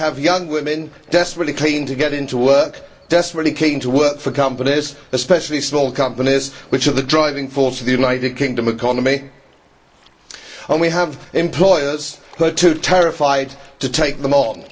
We have young women desperately keen to get into work, desperately keen to work for companies, especially small companies which are the driving force of the United Kingdom economy and we have employers who are too terrified to take them on.